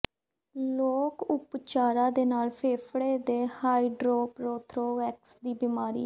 ਲੋਕ ਉਪਚਾਰਾਂ ਦੇ ਨਾਲ ਫੇਫੜੇ ਦੇ ਹਾਈਡਰਰੋਥੋਰੈਕਸ ਦੀ ਬਿਮਾਰੀ